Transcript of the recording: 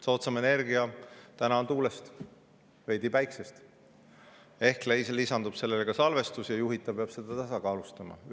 Soodsamat energiat saab täna tuulest, veidi päikesest, ehk lisandub sellele ka salvestus ja juhitav peab seda tasakaalustama.